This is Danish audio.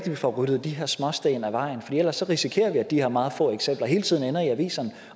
at vi får ryddet de her småsten af vejen for ellers risikerer vi at de her meget få eksempler hele tiden ender i aviserne